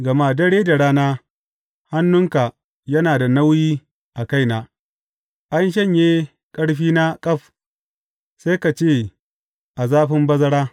Gama dare da rana hannunka yana da nauyi a kaina; an shanye ƙarfina ƙaf sai ka ce a zafin bazara.